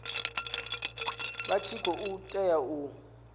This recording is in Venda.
vha tshi khou tea u